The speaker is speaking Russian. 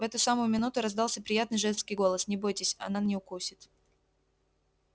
в эту самую минуту раздался приятный женский голос не бойтесь она не укусит